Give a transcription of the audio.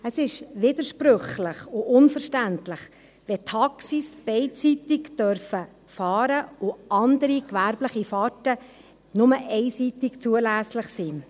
Es ist widersprüchlich und unverständlich, wenn Taxis beidseitig fahren dürfen und andere gewerbliche Fahrten nur einseitig zulässig sind.